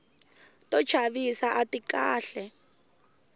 to chavisa ati kahle